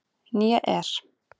Né er